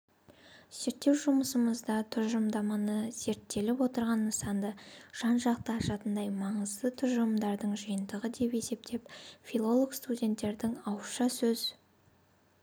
зерттеу жұмысымызда тұжырымдаманы зерттеліп отырған нысанды жан-жақты ашатындай маңызды тұжырымдардың жиынтығы деп есептеп филолог-студенттердің ауызша сөз